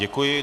Děkuji.